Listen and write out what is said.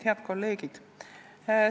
Head kolleegid!